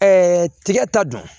tigɛ ta don